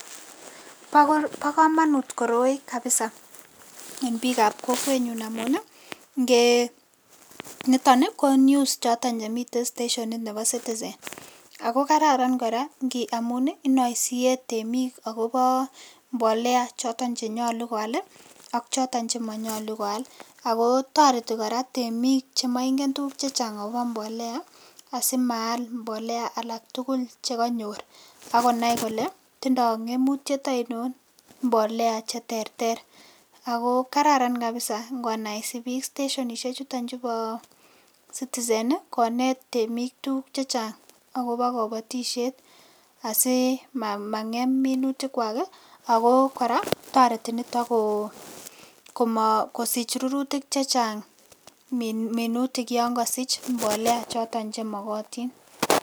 Bo kamanut koroi kabisa en piikab kokwenyun amun ii, nitoni ko news choton chemitei stationit nebo Citizen, ako kararan kora amun inoesie temik akobo mbolea choton che nyalu koal ii ak choton che manyalu koal, ako toreti kora temik chemaingen tukuk che chang akobo mbolea asimaal mbolea alak tugul che kanyor, akonai kole tindoi ngemutiet ainon mbolea che terter, ako kararan kabisa ngonaise piik stationisie chutochun bo Citizen ii, konet temik tukuk che chang akobo kabatisiet asi mangem minutikwak ii, ako kora toreti nitok kosich rurutik che chang minutik yon kosich mbolea choton che mokotin.